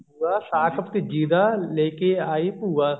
ਸੂਆ ਸਾਕ ਭਤੀਜੀ ਦਾ ਲੈਕੇ ਆਈ ਭੂਆ